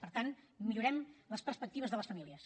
per tant millorem les perspectives de les famílies